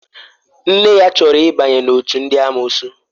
Nne ya chọrọ ịbanye n'òtù ndị amụụsụ.